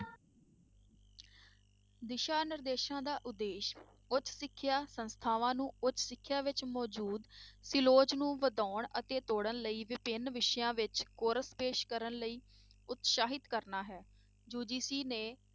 ਦਿਸ਼ਾ ਨਿਰਦੇਸ਼ਾਂ ਦਾ ਉਦੇਸ਼ ਉੱਚ ਸਿੱਖਿਆ ਸੰਸਥਾਵਾਂ ਨੂੰ ਉੱਚ ਸਿੱਖਿਆ ਵਿੱਚ ਮੌਜੂਦ ਤੇ ਲੋਚ ਨੂੰ ਵਧਾਉਣ ਅਤੇ ਤੋੜਣ ਲਈ ਵਿਭਿੰਨ ਵਿਸ਼ਿਆਂ ਵਿੱਚ course ਪੇਸ਼ ਕਰਨ ਲਈ ਉਤਸ਼ਾਹਿਤ ਕਰਨਾ ਹੈ UGC ਨੇ,